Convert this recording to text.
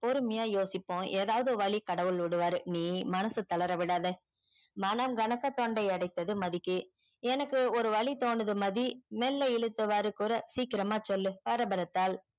பொறுமையா யோசிப்போ ஏதாவுது வழி கடவுள் விடுவாரு நீ மனச தளர விடாத மணம் கணக்க தொண்டை அடைத்தது மதிக்கு எனக்கு ஒரு வழி தோணுது மதி மெல்ல இழுத்தவாறு குற சிக்கரம்மா சொல்லு பரபரத்தாள்